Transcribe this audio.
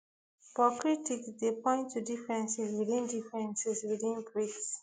but critics dey point to differences within differences within brics